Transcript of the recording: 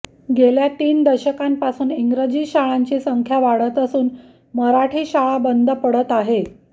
गेल्या तीन दशकांपासून इंग्रजी शाळांची संख्या वाढत असून मराठी शाळा बंद पडत आहे